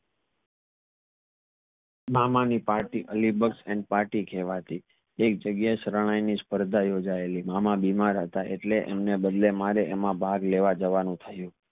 મામા ની પાર્ટી અલીબક્ષ ને પાર્ટી કહવતી તે એક જાગીય એ શરનાઈ ની સ્પર્ધા યોજાયાલી મામા બીમાર હતા એટલે મારે એમાં ભાગ લેવા જવાનું થયું